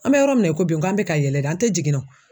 An bɛ yɔrɔ min na i ko bi k'an bɛ ka yɛlɛ de an tɛ jiginna o